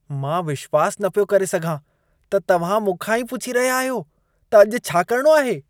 मां विश्वास न पियो करे सघां त तव्हां मूंखां ही पुछी रहिया आहियो त अॼु छा करिणो आहे।